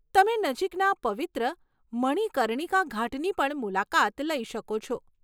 તમે નજીકના પવિત્ર મણિકર્ણિકા ઘાટની પણ મુલાકાત લઈ શકો છો.